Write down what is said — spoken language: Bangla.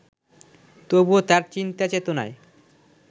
তবুও তার চিন্তাচেতনায়